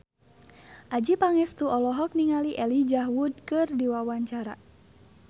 Adjie Pangestu olohok ningali Elijah Wood keur diwawancara